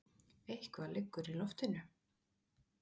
Eitthvað liggur í loftinu!